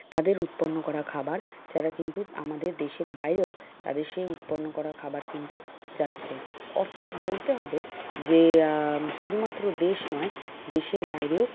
তাদের উৎপন্ন করা খাবার এছাড়া কিন্তু আমাদের দেশের বাইরেও তাদের সেই উৎপন্ন করা খাবার কিন্তু যাচ্ছে। অর্থাৎ বলতে হবে যে আহ শুধুমাত্র দেশ নয় দেশের বাইরেও,